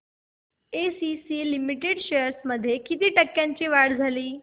ACC Limited shares मध्ये किती टक्क्यांची वाढ झाली